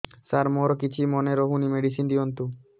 ସାର ମୋର କିଛି ମନେ ରହୁନି ମେଡିସିନ ଦିଅନ୍ତୁ